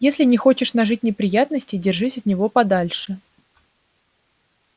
если не хочешь нажить неприятностей держись от него подальше